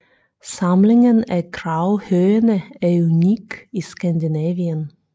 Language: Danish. Samlingen af gravhøjene er unikke i Skandinavien